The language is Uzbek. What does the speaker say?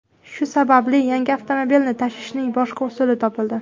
Shu sababli yangi avtomobilni tashishning boshqa usuli topildi.